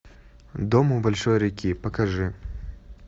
дом у большой реки покажи